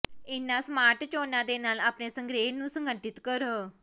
ਇਹਨਾਂ ਸਮਾਰਟ ਚੋਣਾਂ ਦੇ ਨਾਲ ਆਪਣੇ ਸੰਗ੍ਰਹਿ ਨੂੰ ਸੰਗਠਿਤ ਕਰੋ